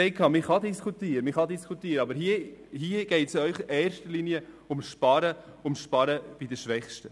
Man kann diskutieren, aber hier geht es Ihnen in erster Linie ums Sparen bei den Schwächsten.